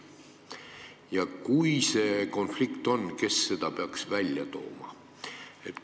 Ja kui see konflikt on, kes selle peaks välja tooma?